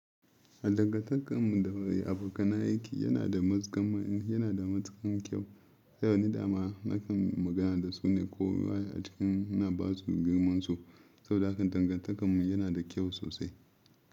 Dangantakar mu da abokanan aiki yana da matukan kyau. A yanzu dama nakan magana da su ne ko waya a cikin na basu girmansu saboda hakan dangantakar mu yana da kyau sosai.